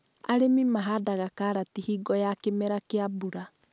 Arĩmi mahandaga karati hingo ya kĩmera kĩa mbura